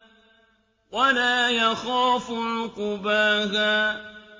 وَلَا يَخَافُ عُقْبَاهَا